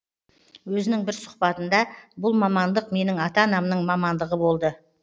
өзінің бір сұхбатында бұл мамандық менің ата анамның мамандығы болды